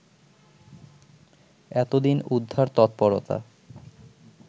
এতদিন উদ্ধার তৎপরতা